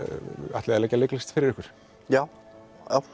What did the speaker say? ætliði að leggja leiklist fyrir ykkur já